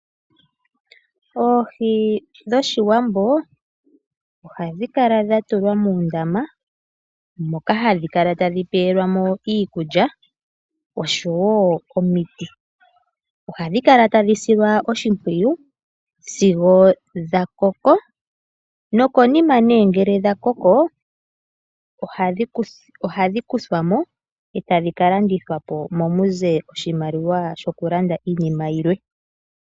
Oohi dhOshiwambo ohadhi kala dha tulwa muundama moka hadhi kala tadhi pelwa mo iikulya osho wo omiti. Ohadhi kala tadhi silwa oshimpwiyu sigo dha koko nokonima nee ngele dha koko ohadhi kuthwa mo e tadhi ka landithwa po mu ze oshimaliwa shokulanda iinima yilwe.